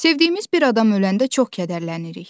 Sevdiyimiz bir adam öləndə çox kədərlənirik.